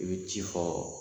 I bɛ ci fɔ